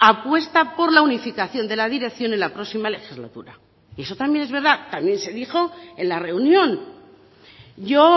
apuesta por la unificación de la dirección en la próxima legislatura y eso también es verdad también se dijo en la reunión yo